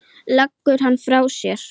Leggur hann frá sér.